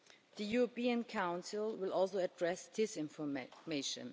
The European Council will also address this information.